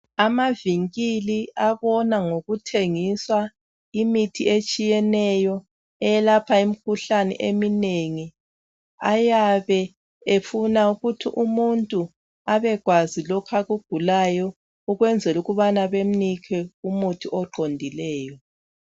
Amavinkili abona ngokuthengisa imithi etshiyeneyo eyelapha imikhuhlane eminengi ayabe efuna ukuthi umuntu abekwazi lokho akugulayo ukwenzela ukubana bemnike umuthi oqondileyo.